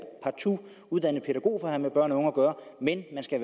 uddannet pædagog for at have med børn og unge at gøre men man skal